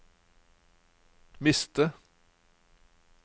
miste